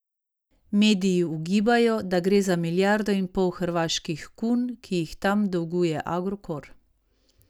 Mediji ugibajo, da gre za milijardo in pol hrvaških kun, ki jih tam dolguje Agrokor.